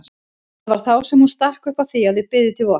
Það var þá sem hún stakk upp á því að þau biðu til vors.